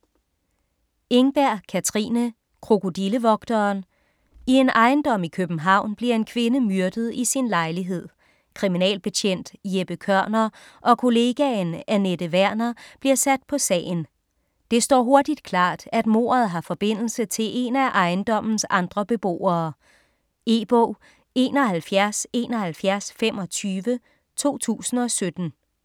Engberg, Katrine: Krokodillevogteren I en ejendom i København bliver en kvinde myrdet i sin lejlighed. Kriminalbetjent Jeppe Kørner og kollegaen Anette Werner bliver sat på sagen. Det står hurtigt klart, at mordet har forbindelse til en af ejendommens andre beboere. E-bog 717125 2017.